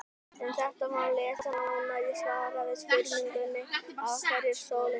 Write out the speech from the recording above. Um þetta má lesa nánar í svari við spurningunni Af hverju er sólin heit?.